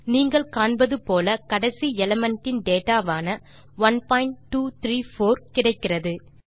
நீங்கள் காண்பது போல கடைசி எலிமெண்ட் இன் டேட்டா வான 1234 கிடைக்கிறது